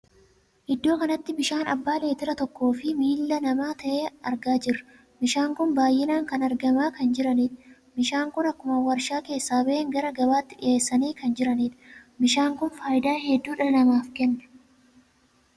Iddoo kanatti bishaan abbaa leetira tokkoo fi miillaa nama tahee argaa jirra. bishaan kun baay'inaan kan argamaa kan jiranidha. bishaan kun akkuma warshaa keessa ba'een gara gabaatti dhiheesanii kan jiranidha. bishaan kun faayidaa hedduu dhala namaaf Kenna.